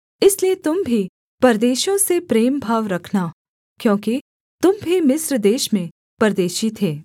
इसलिए तुम भी परदेशियों से प्रेम भाव रखना क्योंकि तुम भी मिस्र देश में परदेशी थे